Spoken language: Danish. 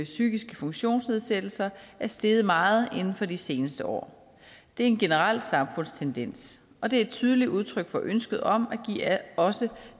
psykiske funktionsnedsættelser er steget meget inden for de seneste år det er en generel samfundstendens og det er et tydeligt udtryk for ønsket om at give også